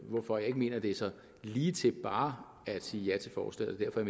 hvorfor jeg ikke mener det er så ligetil bare at sige ja til forslaget og